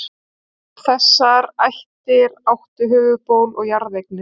Þessar ættir áttu höfuðból og jarðeignir.